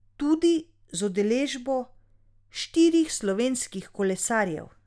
Tudi z udeležbo štirih slovenskih kolesarjev.